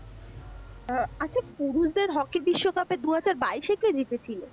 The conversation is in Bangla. আচ্ছা পুরুষদের হকি বিশ্বকাপ এ দু হাজার বাইশ এ কে জিতে ছিল?